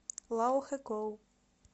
лаохэкоу